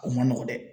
O man nɔgɔn dɛ